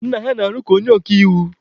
Nna ha na-arụ ka onye oka iwu.